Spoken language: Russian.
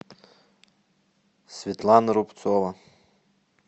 светлана рубцова